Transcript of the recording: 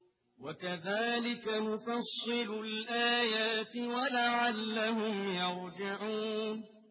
وَكَذَٰلِكَ نُفَصِّلُ الْآيَاتِ وَلَعَلَّهُمْ يَرْجِعُونَ